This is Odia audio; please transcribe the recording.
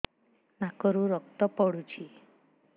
ନାକରୁ ରକ୍ତ ପଡୁଛି